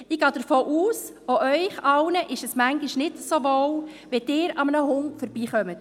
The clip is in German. Ich gehe davon aus, dass es auch Ihnen allen manchmal nicht so wohl ist, wenn Sie an einem Hund vorbeigehen.